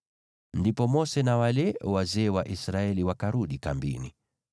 Ndipo Mose na wale wazee wa Israeli wakarudi kambini.